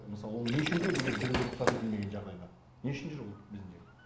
мысалы ол не үшін кіреді егер жүруге рұқсат етілмеген жағдайда не үшін жүр ол бізде